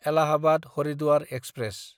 एलाहाबाद–हारिद्वार express